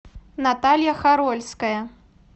наталья харольская